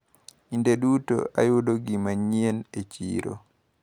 Kinde duto ayudo gimanyien e chiro.